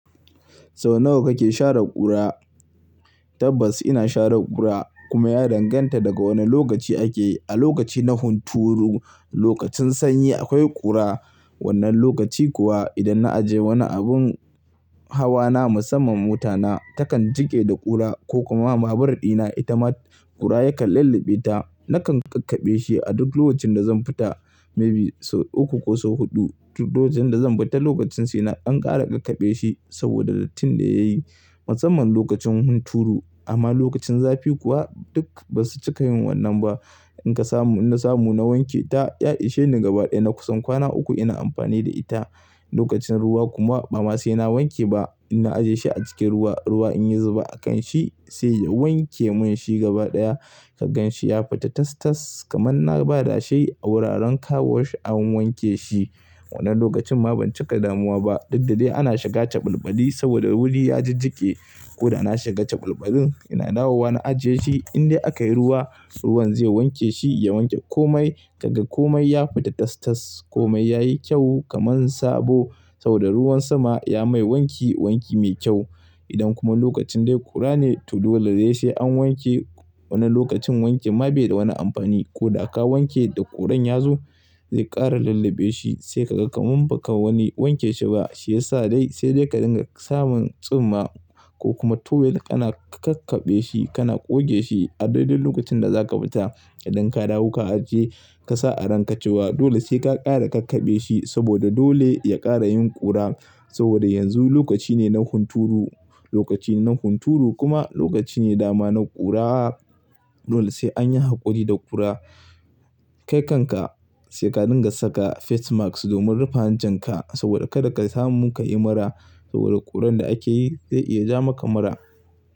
Sau nawa kake share ƙura? Tabbas ina share ƙura kuma ya danganta daga wane lokaci ake. A lokaci na hunturu, lokacin sanyi akwai ƙura. Wannan lokaci kuwa idan na ajiye wani abin hawa na musamman mota na takan jike da ƙura ko kuma babur dina ita ma ƙura yakan lallabe ta. Nakan kakkaɓe shi a duk lokacin da zan fita maybe sau uku ko sau huɗu duk lokacin da zan fita lokacin sai na ƙara kakkaɓe shi saboda dattin da yayi musamman lokacin hunturu amma lokacin zafi kuwa duk ba su cika yin wannan ba. In ka samu, na samu na wanke ta, ya isheni gabaɗaya. Na kusan kwana uku ina amfani da ita. Lokacin ruwa kuma ba ma sai na wanke ba. In na ajiye shi a cikin ruwa, ruwa in yi zuba a kan shi sai ya wanke mun shi gabaɗaya. Kagan shi ya fita tas-tas kaman na ba da shi a wuraren car wash an wanke shi. Wannan lokacin ma ban cika damuwa ba. Duk da de ana shiga calbalbali saboda wuri ya jajjike. Ko da na shiga calbalbalin, ina dawowa na ajiye shi indai a kai ruwa, ruwan zai wanke shi, ya wanke komai. Kaga komai ya fita tas-tas. Komai yayi kyau kaman sabo saboda ruwan sama ya mai wanki wanki mai kyau. Idan kuma lokacin dai ƙura ne to dole dai sai an wanke. Wani lokacin wanke ma bai da wani amfani ko da ka wanke da ƙuran ya zo zai ƙara lullabe shi sai ka ga kamin ba ka wani wanke shi ba shiyasa dai sai dai ka dinga samun tsumma ko kuma towel kana kakkaɓe shi kana goge shi a daidai lokacin da za ka fita. Idan ka dawo ka ajiye, ka sa a rankacewa. Dole sai ka ƙara kakkaɓe shi saboda dole ya ƙara yin ƙura saboda yanzu lokaci ne na hunturu. Lokaci ne na hunturu kuma lokaci ne dama na ƙura. Dole sai anyi haƙuri da ƙura. Kai kanka sai ka dinga saka face mask domin rufe hancin ka saboda kada ka samu ka yi mura saboda ƙuran da ake yi zai iya ja maka mura.